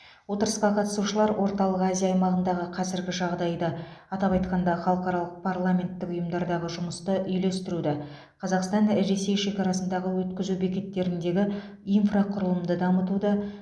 отырысқа қатысушылар орталық азия аймағындағы қазіргі жағдайды атап айтқанда халықаралық парламенттік ұйымдардағы жұмысты үйлестіруді қазақстан ресей шекарасындағы өткізу бекеттеріндегі инфрақұрылымды дамытуды